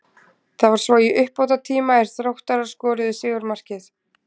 Það var svo í uppbótartíma er Þróttarar skoruðu sigurmarkið.